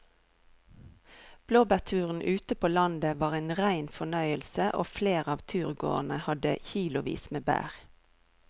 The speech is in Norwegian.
Blåbærturen ute på landet var en rein fornøyelse og flere av turgåerene hadde kilosvis med bær.